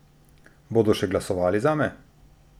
Bodo še glasovali zame?